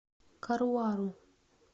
каруару